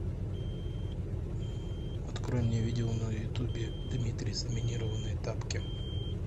открой мне видео на ютубе дмитрий заминированные тапки